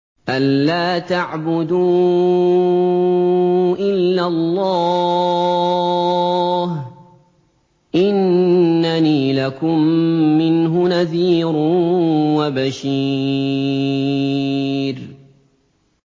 أَلَّا تَعْبُدُوا إِلَّا اللَّهَ ۚ إِنَّنِي لَكُم مِّنْهُ نَذِيرٌ وَبَشِيرٌ